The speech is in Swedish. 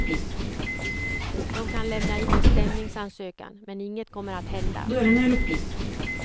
De kan lämna in en stämningsansökan, men inget kommer att hända.